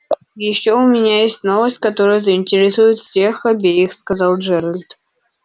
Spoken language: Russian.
и ещё у меня есть новость которая заинтересует всех обеих сказал джералд